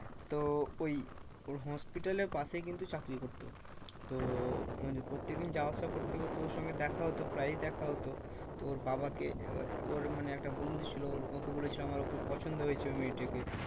তো ওই ওর hospital এর পাশে কিন্তু চাকরি করতো। তো প্রত্যেকদিন যাওয়া আসা করতে করতে ওর সঙ্গে দেখা হতো প্রায়ই দেখা হতো। তো ওর বাবাকে ওর মানে ও একটা বন্ধু ছিল ওকে বলেছিলাম আর ওকে পছন্দ হয়েছে ওই মেয়েটাকে